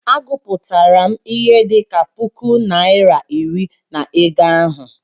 Agụpụtara m ihe dị ka puku naịra iri na ego ahụ.